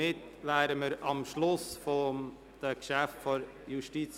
Somit sind wir am Schluss der Geschäfte der JGK angelangt.